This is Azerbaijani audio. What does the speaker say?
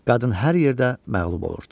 Qadın hər yerdə məğlub olurdu.